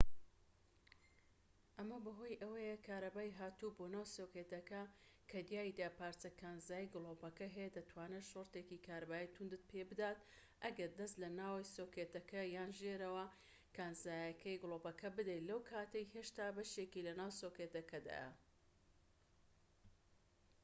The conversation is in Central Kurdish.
ئەمە بەهۆی ئەوەیە کارەبای هاتوو بۆ ناو سۆکێتەکە کە تیایدا پارچەی کانزایی گلۆپەکە هەیە دەتوانێت شۆرتێکی کارەبایی توندت پێ بدات ئەگەر دەست لە ناوەوەی سۆکێتەکە یان ژێرەوە کانزاییەکەی گلۆپەکە بدەیت لەو کاتەی هێشتا بەشێکی لە ناو سۆکێتەکەدایە